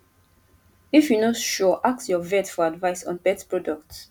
if you no sure ask your vet for advice on pet products